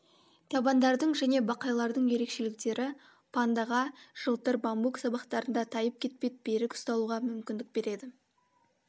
табандардың және бақайлардың ерекшіліктері пандаға жылтыр бамбук сабақтарында тайып кетпей берік ұсталуға мүмкіндік береді